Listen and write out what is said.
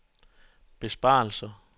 besparelser